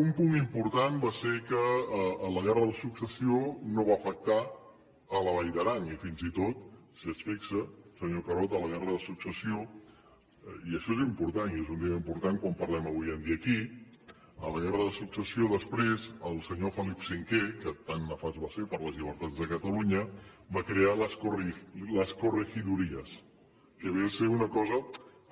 un punt important va ser que la guerra de successió no va afectar la vall d’aran i fins i tot si s’hi fixa senyor carod a la guerra de successió i això és important i és un tema important quan parlem avui en dia aquí després el senyor felip v que tant nefast va ser per a les llibertats de catalunya va crear les corregidurías que ve a ser una cosa